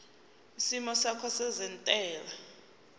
isimo sakho sezentela